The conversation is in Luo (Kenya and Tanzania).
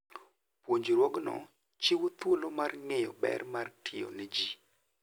Puonjruogno chiwo thuolo mar ng'eyo ber mar tiyo ne ji.